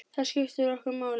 Það skiptir okkur máli.